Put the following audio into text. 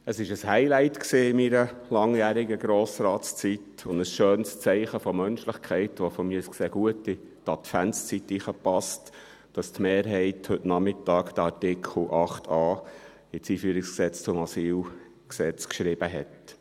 Es war ein Highlight in meiner langjährigen Grossratszeit und ein schönes Zeichen der Menschlichkeit, welches die Mehrheit heute Nachmittag den Artikel 8a des Einführungsgesetzes zum Ausländer- und Integrationsgesetz sowie zum Asylgesetz (EG AIG und AsylG) geschrieben hat.